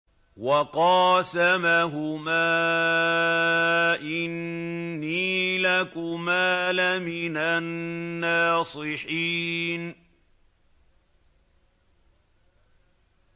وَقَاسَمَهُمَا إِنِّي لَكُمَا لَمِنَ النَّاصِحِينَ